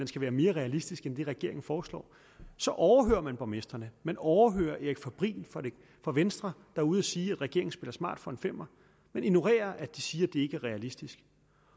skal være mere realistisk end den regeringen foreslår så overhører man borgmestre man overhører erik fabrin fra venstre er ude at sige at regeringen spiller smart for en femmer man ignorerer at de siger at ikke er realistisk